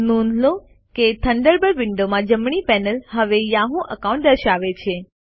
નોંધ લો કે થન્ડરબર્ડ વિંડોમાં જમણી પેનલ હવે યાહૂ એકાઉન્ટ દર્શાવે છે